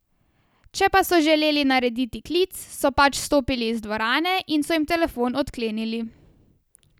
Če pa so želeli narediti klic, so pač stopili iz dvorane in so jim telefon odklenili.